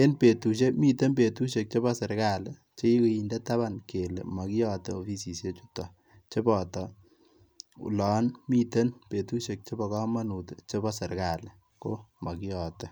en betushek miten betushek chebo serikali chekikinde taban kele mokiyote offisisiek chutok cheboton olon miten betushek chebo komonut chebo serikali ko mokiyote.